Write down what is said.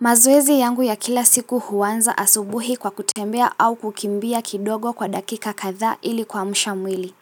Mazoezi yangu ya kila siku huanza asubuhi kwa kutembea au kukimbia kidogo kwa dakika kadhaa ili kuamsha mwili.